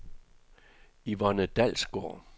Yvonne Dalsgaard